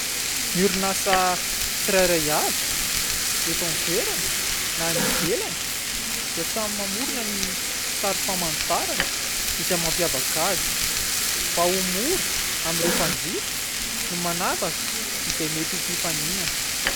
Ny orinasa tsirairay avy eto an-toerana na any ivelany dia samy mamorona ny sary famantarana izay mampiavaka azy, mba ho mora amin'ireo mpanjifa ny manavaka izay mety ho mpifaninana.